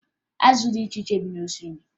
Azụ dị iche iche bi n'osimiri